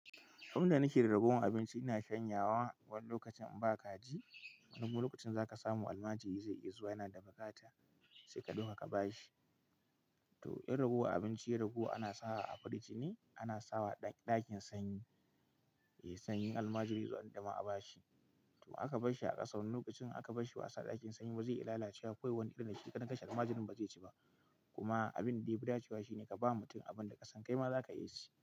Abin da nake da ragowan abinci ina shanyawa, wani lokacin in ba kaji, wani lokacin za ka samu almajiri zai iya zuwa, yana da buƙara sai ka ɗauka ka ba shi. To in ragowar abinci, yai ragowa ana sawa a firiji ne, ana sawa a ɗakin sanyi, Yai sanyi in almajiri ya zo ana da dama a ba shi. To aka basshi a ƙasa, wani lokacin aka basshi ba asa a ɗakin sanyi ba zai iya lalacewa Akwai wani ɗan da shi kaɗan kashe almajirin ba zai ci ba. Kuma abin da ya fi dacewa shi ne ka ba mutum abin da ƙasan kai ma za ka iya ci.